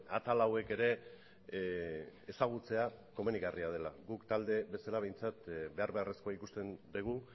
atal hauek ere ezagutzea komenigarria dela guk talde bezala behintzat behar beharrezkoa ikusten dugu